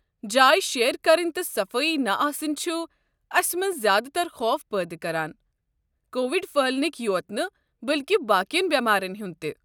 جایہِ شییر كرٕنۍ تہِ صفٲیی نہِ آسٕنۍ چھُ اسہِ منٛزٕ زیٛادٕ تر خوف پٲدٕ كران، کووِڑ پھٔہلنٕکی یوت نہٕ بٔلكہِ باقین بیمارین ہُنٛد تہِ۔